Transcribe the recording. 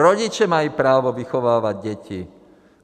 Rodiče mají právo vychovávat děti!